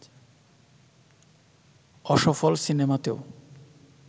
অসফল সিনেমাতেও